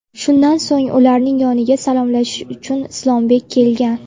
Shundan so‘ng ularning yoniga salomlashish uchun Islombek kelgan.